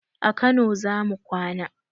A kano zamu kwana